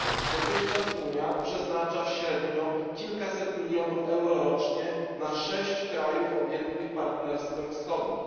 Dotychczas Unia przeznacza średnio kilkaset milionów euro rocznie na sześć państw objętych Partnerstwem Wschodnim.